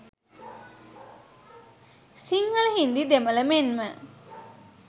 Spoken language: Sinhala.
සිංහල හින්දි දෙමළ මෙන්ම